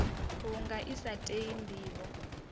vhunga i sa tei ndivho